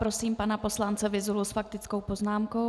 Prosím pana poslance Vyzulu s faktickou poznámkou.